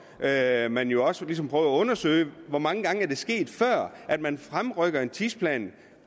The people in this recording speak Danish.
per må man jo også ligesom prøve at undersøge hvor mange gange før er det sket at man fremrykker en tidsplan